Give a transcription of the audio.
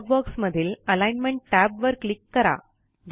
dialogue बॉक्समधील alignment Tab वर click करा